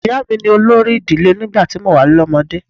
Ìyá mi ni olórí ìdílé nígbà tí mo wà lọ́mọdé.